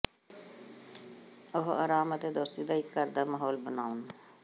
ਉਹ ਆਰਾਮ ਅਤੇ ਦੋਸਤੀ ਦਾ ਇੱਕ ਘਰ ਦਾ ਮਾਹੌਲ ਬਣਾਉਣ